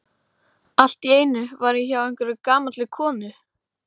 Hafi getað hætt því hans vegna.